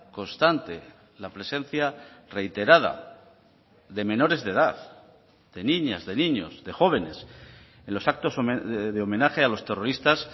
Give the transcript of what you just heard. constante la presencia reiterada de menores de edad de niñas de niños de jóvenes en los actos de homenaje a los terroristas